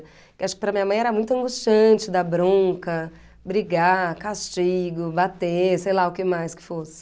Acho que para minha mãe era muito angustiante dar bronca, brigar, castigo, bater, sei lá o que mais que fosse.